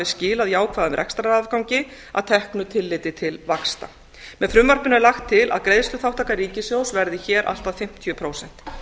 hafi skilað jákvæðum rekstrarafgangi að teknu tilliti til vaxta með frumvarpinu er lagt til að greiðsluþátttaka ríkissjóðs verði hér allt að fimmtíu prósent